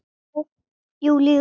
Júlíu frá.